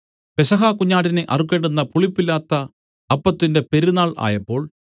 പെസഹ കുഞ്ഞാടിനെ അറുക്കേണ്ടുന്ന പുളിപ്പില്ലാത്ത അപ്പത്തിന്റെ പെരുന്നാൾ ആയപ്പോൾ